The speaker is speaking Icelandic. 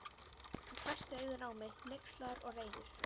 Hann hvessti augun á mig, hneykslaður og reiður.